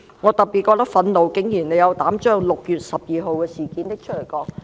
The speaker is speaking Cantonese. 我特別覺得憤怒的是，他們竟然斗膽把6月12日的事件提出來談論。